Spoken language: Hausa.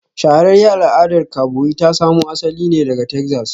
Shahararriyar al'adar kaboyi ta samo asali ne daga Texas